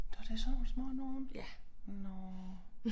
Nåh det sådan nogle små nogle nåh